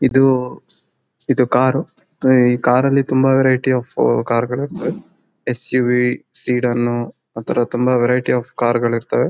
ಇದು ಇದು ಕಾರ್ ಈ ಕಾರ್ ಅಲ್ಲಿ ತುಂಬಾ ವೆರೈಟಿ ಆಫ್ ಕಾರ್ ಗಳ್ ಇರತ್ತೆ. ಎಸ ಯು ವಿ ಸೀದನ್ ಅ ಥರ ತುಂಬಾ ವೆರೈಟಿಸ್ ಆಫ್ ಕಾರ್ ಗಳ್ ಇರತ್ತೆ.